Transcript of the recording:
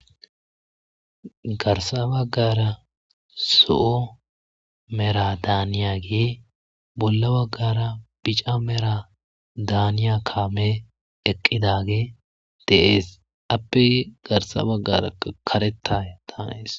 Garsa baggara zo'o mera daaniyagi bolla baggara bica mera daaniya kaame eqqidagi deees appe garsa baggara karetta daanees.